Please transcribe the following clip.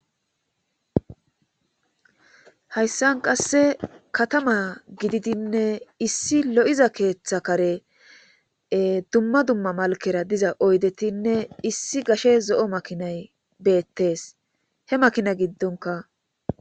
hayssan qasse katama gididinne issi lo7iza keeththa kare dumma dumma malkera diza oydetinne issi gashe zo7o makinay beettes he makina giddonka